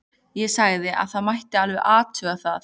Ég sagði að það mætti alveg athuga það.